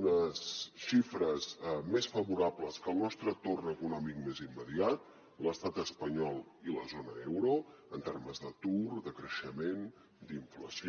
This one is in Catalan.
unes xifres més favorables que el nostre entorn econòmic més immediat l’estat espanyol i la zona euro en termes d’atur de creixement d’inflació